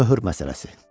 Möhür məsələsi.